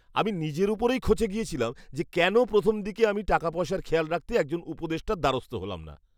আমি নিজের ওপরেই খচে গিয়েছিলাম যে কেন প্রথম দিকে আমি টাকা পয়সার খেয়াল রাখতে একজন উপদেষ্টার দ্বারস্থ হলাম না।